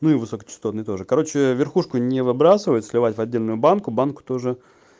ну и высокочастотные тоже короче верхушку не выбрасывать сливать в отдельную банку банку тоже